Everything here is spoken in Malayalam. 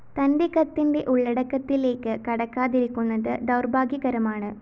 തന്റെ കത്തിന്റെ ഉള്ളടക്കത്തിലേക്ക്‌ കടക്കാതിരുന്നത്‌ ദൗര്‍ഭാഗ്യകരമാണ്‌